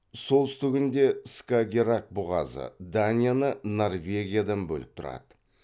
солтүстігінде скагеррак бұғазы данияны норвегиядан бөліп тұрады